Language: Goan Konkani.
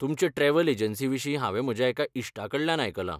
तुमचे ट्रॅव्हल एजन्सीविशीं हांवें म्हज्या एका इश्टा कडल्यान आयकलां.